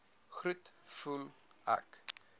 groet voel ek